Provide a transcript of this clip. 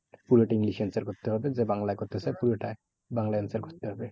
পুরোটা english এ answer করতে হবে। যে বাংলায় করতে চায় পুরোটাই বাংলায় answer করতে হবে।